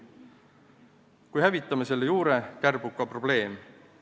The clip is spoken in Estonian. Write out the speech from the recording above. Kui hävitame selle juure, kärbub ka probleem.